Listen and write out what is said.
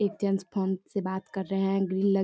एक gents phone से बात कर रहे हैं। ग्रीन --